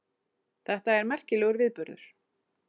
Þetta er merkilegum viðburður